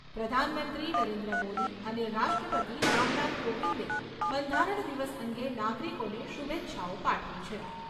પ્રધાનમંત્રી નરેન્દ્ર મોદી અને રાષ્ટ્રપતિ રામનાથ કોવિંદે બંધારણ દિવસ અંગે નાગરિકોને શુભેચ્છાઓ પાઠવી છે.